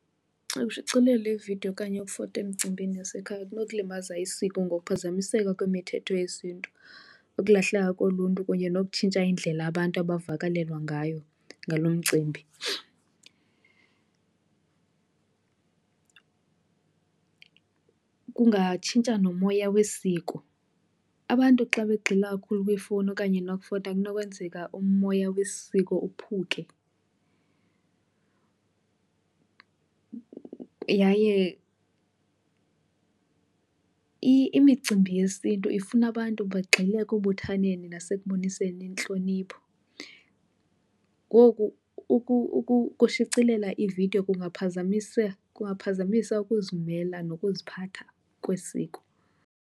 Ushicilela ividiyo okanye ukufota emcimbini yasekhaya kunokulimaza isiko ngokuphazamiseka kwemithetho yesiNtu, ukulahleka koluntu kunye nokutshintsha indlela abantu abavakalelwa ngayo ngalo mcimbi. Kungatshintsha nomoya wesiko. Abantu xa begxila kakhulu kwiifowuni okanye nokufota kunokwenzeka umoya wesiko uphuke. Yaye imicimbi yesiNtu ifuna abantu bagxile ekubuthaneni nasekuboniseni intlonipho. Ngoku ukushicilela ividiyo kungaphazamisa ukuzimela nokuziphatha kwesiko.